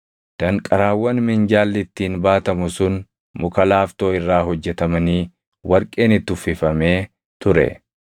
Danqaraawwan minjaalli ittiin baatamu sun muka laaftoo irraa hojjetamanii warqeen itti uffifamee ture.